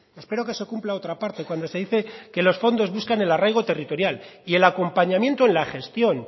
espero que se cumpla otra parte cuando se dice que los fondos buscan el arraigo territorial y el acompañamiento en la gestión